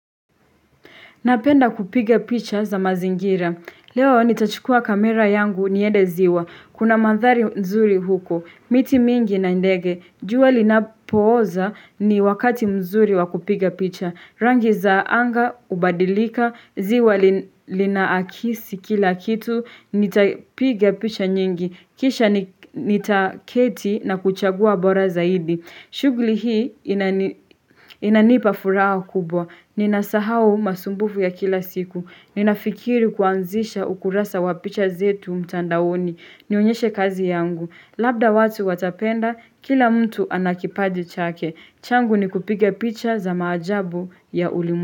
Napenda kupiga picha za mazingira. Leo nitachukua kamera yangu niende ziwa. Kuna mandhari nzuri huko. Miti mingi na ndege. Jua linapoza ni wakati mzuri wakupiga picha. Rangi za anga, hubadilika, ziwa linaakisi kila kitu. Nitapiga picha nyingi. Kisha nitaketi na kuchagua bora zaidi. Shughuli hii inanipa furaha kubwa. Nina sahau masumbufu ya kila siku. Ninafikiri kuanzisha ukurasa wapicha zetu mtandaoni. Nionyeshe kazi yangu. Labda watu watapenda, kila mtu anakipaji chake. Changu ni kupiga picha za maajabu ya.